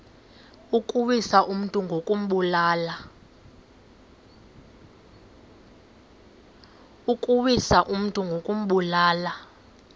ukuwisa umntu ngokumbulala